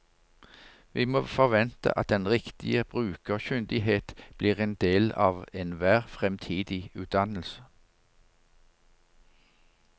Vi må forvente at den riktige brukerkyndighet blir en del av enhver fremtidig utdannelse.